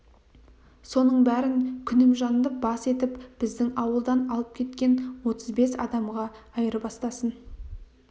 соның бәрін күнімжанды бас етіп біздің ауылдан алып кеткен отыз бес адамға айырбастасын